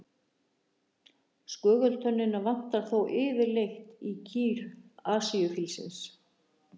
skögultönnina vantar þó yfirleitt í kýr asíufílsins